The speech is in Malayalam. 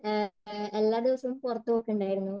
എല്ലാദിവസവും പുറത്തു പോകുന്നുണ്ടായിരുന്നു.